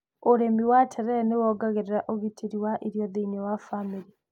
Ũrĩmi wa terere nĩ wongereraga ũgitĩri wa irio thĩiniĩ wa bamĩrĩ.